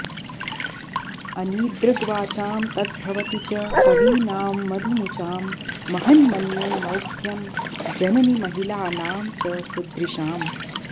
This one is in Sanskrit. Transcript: अनीदृग्वाचां तद्भवति च कवीनां मधुमुचां महन्मन्ये मौग्ध्यं जननि महिलानां च सुदृशाम्